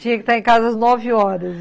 Tinha que estar em casa às nove horas.